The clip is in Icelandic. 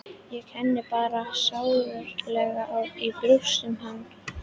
Ég kenndi bara sárlega í brjósti um hann.